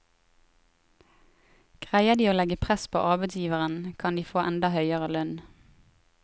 Greier de å legge press på arbeidsgiveren, kan de få enda høyere lønn.